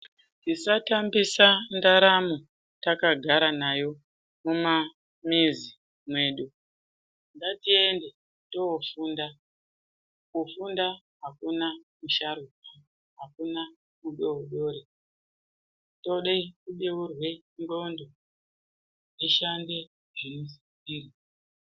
Tisatambisa ndaramo takagara nayo mimamuzi medu ngatiende toofunda kufunda hakuna musharukwa hakuna mudoodori tinoda kubeurwa ndxondo tishande zvinosisirwa.